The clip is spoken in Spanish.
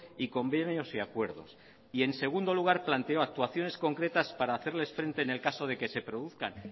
y convenios y acuerdos y en segundo lugar planteó actuaciones concretas para hacerles frente en el caso de que se produzcan